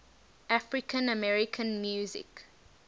african american music